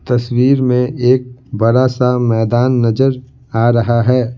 तस्वीर में एक बड़ा सा मैदान नजर आ रहा है।